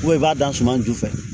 i b'a don suma ju fɛ